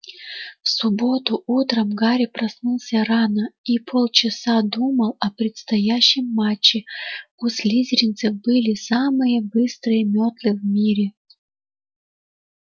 в субботу утром гарри проснулся рано и полчаса думал о предстоящем матче у слизеринцев были самые быстрые метлы в мире